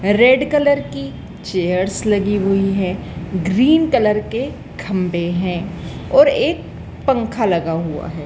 Red colour की chairs लगी हुई है ग्रीन कलर के खंभे हैं और एक पंखा लगा हुआ है।